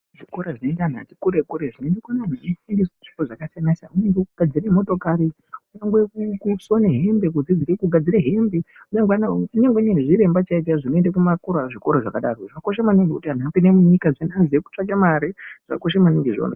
Zvikora zvinoende vanhu vatikure kure zvinooneka zvichifundisa zvipo zvakasiyana siyana. Nyangwe kugadzire motokari. Nyangwe kusona hembe kudzidzire kugadzire hembe. Kunyangwe zviremba zvakakosha maningi zvikora zvakadaro vanhu vakone kutsvake mare. Zvakakosha maningi izvozvo.